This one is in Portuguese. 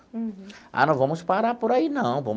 Uhum. Ah, não vamos parar por aí, não.